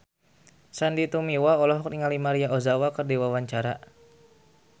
Sandy Tumiwa olohok ningali Maria Ozawa keur diwawancara